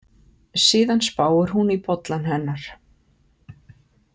Síðan spáir hún í bollann hennar.